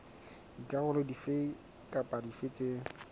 dikarolo dife kapa dife tse